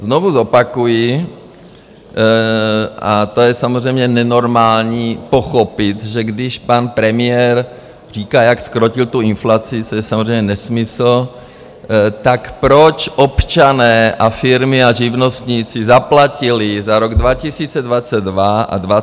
Znovu zopakuji, a to je samozřejmě nenormální pochopit, že když pan premiér říká, jak zkrotil tu inflaci, což je samozřejmě nesmysl, tak proč občané a firmy a živnostníci zaplatili za rok 2022 a 2023 navíc inflační daň 260 miliard?